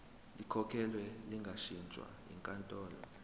likhokhelwe lingashintshwa yinkantolo